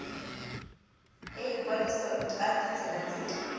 ya ikwadiso ka ditsela tse